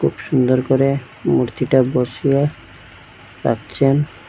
সুন্দর করে মূর্তিটা বসিয়ে রাখছেন।